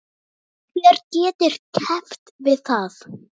Hver getur keppt við það?